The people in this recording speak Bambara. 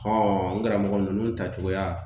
n karamɔgɔ ninnu ta cogoya